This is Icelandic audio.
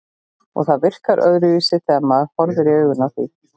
Og það virkar öðruvísi þegar maður horfir í augun á því.